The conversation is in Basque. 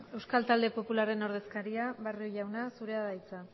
euskal talde popularraren ordezkaria barrio jauna zurea da hitza